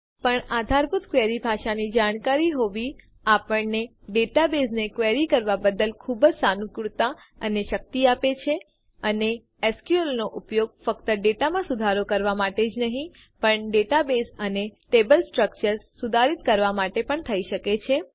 પણ આધારભૂત ક્વેરી ભાષાની જાણકારી હોવી આપણને ડેટાબેઝને ક્વેરી કરવાં બદ્દલ ખુબજ સાનુકૂળતા અને શક્તિ આપે છે અને એસક્યુએલ નો ઉપયોગ ફક્ત ડેટા માં સુધારાં કરવા માટે જ નહી પણ ડેટાબેઝ અને ટેબલ સ્ટ્રકચર્સ કોષ્ટકોનાં માળખાં સુધારિત કરવા માટે પણ થઇ શકે છે